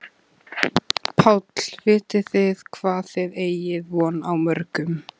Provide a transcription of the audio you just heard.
Páll: Vitið þið hvað þið eigið von á mörgum?